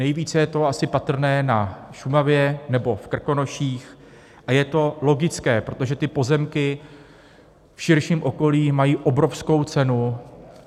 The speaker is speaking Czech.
Nejvíce je to asi patrné na Šumavě nebo v Krkonoších a je to logické, protože ty pozemky v širším okolí mají obrovskou cenu.